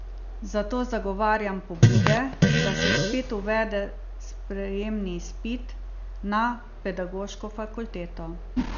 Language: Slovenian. Zato zagovarjam pobude, da se spet uvede sprejemni izpit na pedagoško fakulteto.